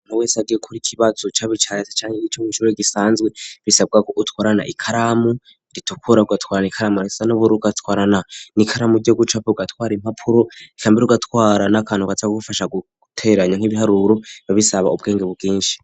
Umuntu wese agiye gukora ikibazo caba ica leta canke co mw'ishure gisanzee, bisabwa gutwara ikaramu ritukura, ugatwara ikaramu isa n'ubururu, ugatwarana n'ikaramu ry',ugucapa, ugatwara impapuro, canke ugatwara n'akantu kaza kugufasha guteranya nk'ibiharuro bica bisaba ubwenge bwinshi.